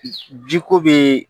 Ji ko be